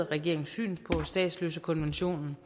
regeringens syn på statsløsekonventionen